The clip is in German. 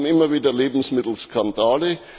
Wir haben immer wieder Lebensmittelskandale.